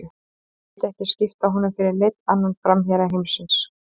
Ég myndi ekki skipta honum fyrir neinn annan framherja heimsins.